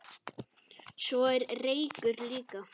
Svo er reykur líka.